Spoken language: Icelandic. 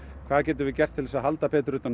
hvað getum við gert til að halda betur